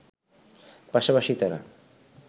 পাশাপাশি তারা